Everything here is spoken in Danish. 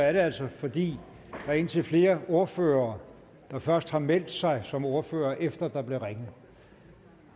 er det altså fordi der er indtil flere ordførere der først har meldt sig som ordførere efter der blev ringet